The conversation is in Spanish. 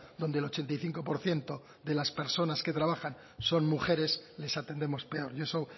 donde el ochenta y cinco por ciento de las personas que trabajan son mujeres les atendemos peor y eso